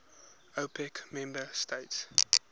opec member states